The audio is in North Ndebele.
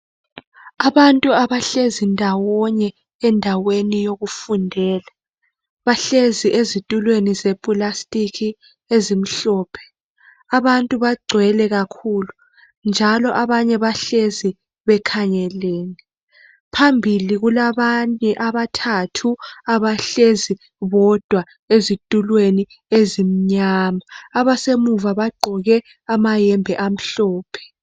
Abantu abahlezi ndawonye endaweni yokufundela, bahlezi ezitulweni zeplastic ezimhlophe. Abantu bagcwele kakhulu njalo abanye bahlezi bekhangelene. Phambili kulabanye abathathu abahlezi bodwa ezitulweni ezimnyama. Abasemuva bagqoke amayembe amhlophe.